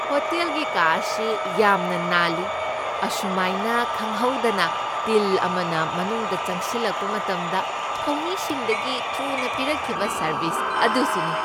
ꯍꯣꯇꯦꯜꯒꯤ ꯀꯥ ꯑꯁꯤ ꯌꯥꯝꯅ ꯅꯥꯟꯂꯤ, ꯑꯁꯨꯃꯥꯏꯅ ꯈꯪꯍꯧꯗꯅ ꯇꯤꯜ ꯑꯃꯅ ꯃꯅꯨꯡꯗ ꯆꯪꯁꯤꯜꯂꯛꯄ ꯃꯇꯝꯗ ꯊꯧꯃꯤꯁꯤꯡꯗꯒꯤ ꯊꯨꯅ ꯄꯤꯔꯛꯈꯤꯕ ꯁꯔꯕꯤꯁ ꯑꯗꯨꯁꯨꯅꯤ ꯫